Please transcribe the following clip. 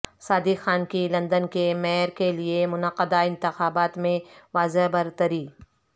صادق خان کی لندن کے میئر کے لیے منعقدہ انتخابات میں واضح برتری